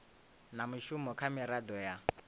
na mushumo kha miraḓo ya